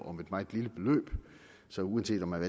om et meget lille beløb så uanset om man